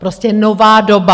Prostě nová doba.